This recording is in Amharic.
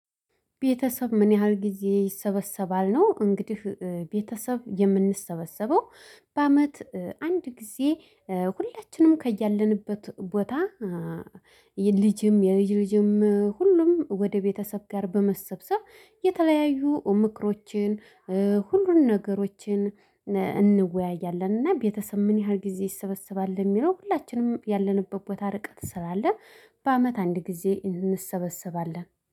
ቤተሰብ ምን ያህል ጊዜ ይሰበሰባል ነው? እንግዲህ ቤተሰብ የምንሰበሰበው በአመት አንድ ጊዜ ሁላችንም ከያለንበት ቦታ። የልጅም የልጅ ልጅም ሁሉም ወደ ቤተሰብ ጋር በመሰብሰብ የተለያዩ ምክሮችን ሁሉን ነገሮችን እንወያያለን። እና ቤተሰብ ምን ያህል ጊዜ ይሰበሰባል የሚለው ሁላችንም ያለንበት ቦታ ርቀት ስላለ በአመት አንድ ጊዜ እንሰበሰባለን